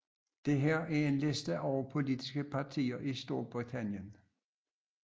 Dette er en liste over politiske partier i Storbritannien